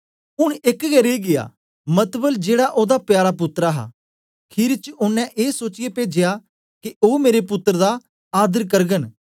ऊन एक गै रेई गीया मतबल जेड़ा ओदा प्यारा पुत्तर हा खीरी च ओनें ए सोचिऐ पेजया के ओ मेरे पुत्तर दा आदर करगन